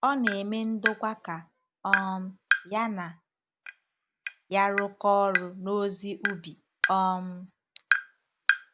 Ọ na-eme ndokwa ka um ya na ya rụkọọ ọrụ n’ozi ubi. um